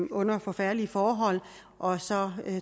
under forfærdelige forhold og så